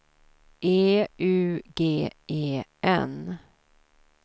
E U G E N